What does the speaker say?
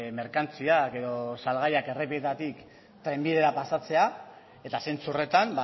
merkantziak edo salgaiak errepideetatik trenbidera pasatzea eta zentzu horretan